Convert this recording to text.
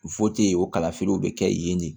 o kalafiliw bɛ kɛ yen de